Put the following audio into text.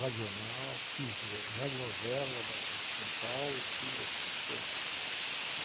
Radio jornal, fiz, eh, radionovela da, de São Paulo, fiz uma porção de coisa.